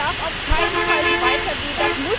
Das darf auf keinen Fall so weitergehen!